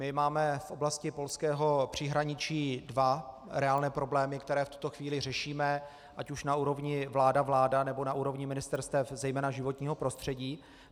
My máme v oblasti polského příhraničí dva reálné problémy, které v tuto chvíli řešíme, ať už na úrovni vláda - vláda, nebo na úrovni ministerstev, zejména životního prostředí.